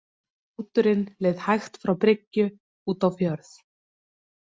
Báturinn leið hægt frá bryggju út á fjörð.